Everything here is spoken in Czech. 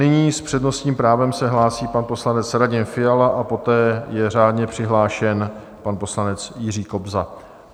Nyní s přednostním právem se hlásí pan poslanec Radim Fiala a poté je řádně přihlášen pan poslanec Jiří Kobza.